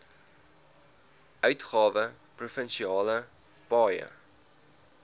uitgawe provinsiale paaie